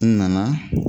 N nana